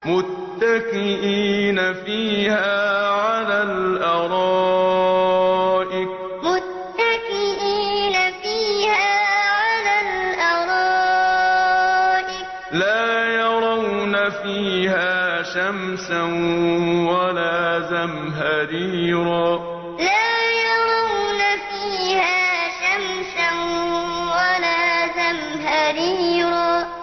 مُّتَّكِئِينَ فِيهَا عَلَى الْأَرَائِكِ ۖ لَا يَرَوْنَ فِيهَا شَمْسًا وَلَا زَمْهَرِيرًا مُّتَّكِئِينَ فِيهَا عَلَى الْأَرَائِكِ ۖ لَا يَرَوْنَ فِيهَا شَمْسًا وَلَا زَمْهَرِيرًا